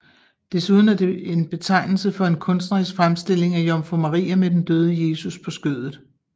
Desuden er det en betegnelse for en kunstnerisk fremstilling af jomfru Maria med den døde Jesus på skødet